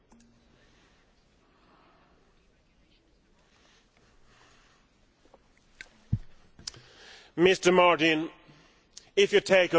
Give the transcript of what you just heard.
Mr Martin, if you take a look around the world, where do you see prosperity rising and where do you see poverty?